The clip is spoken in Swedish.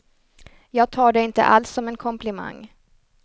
Jag tar det inte alls som en komplimang.